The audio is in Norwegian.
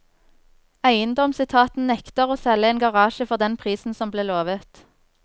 Eiendomsetaten nekter å selge en garasje for den prisen som ble lovet.